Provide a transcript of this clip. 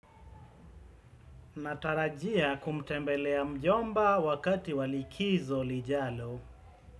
Natarajia kumtembelea mjomba wakati walikizo lijalo.